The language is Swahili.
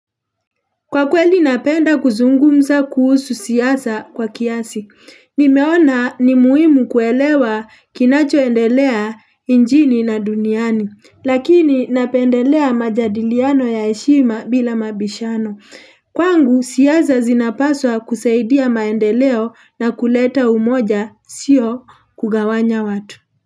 Kwa kweli napenda kuzungumza kuhusu siasa kwa kiasi. Nimeona ni muhimu kuelewa kinachoendelea nchini na duniani. Lakini napendelea majadiliano ya heshima bila mabishano. Kwangu siasa zinapaswa kusaidia maendeleo na kuleta umoja. Sio kugawanya watu.